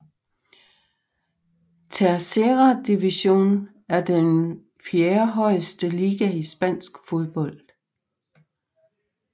Tercera División er den fjerdehøjeste liga i spansk fodbold